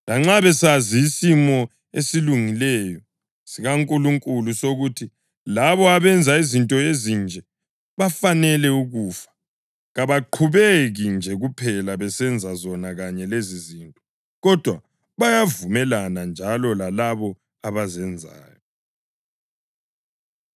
Lanxa besazi isimiso esilungileyo sikaNkulunkulu sokuthi labo abenza izinto ezinje bafanele ukufa, kabaqhubeki nje kuphela besenza zona kanye lezizinto, kodwa bayavumelana njalo lalabo abazenzayo.